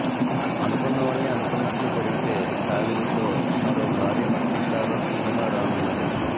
అనుకున్నవన్నీ అనుకున్నట్లు జరిగితే టాలీవుడ్లో మరో భారీ మల్టీస్టారర్ సినిమా రానున్నది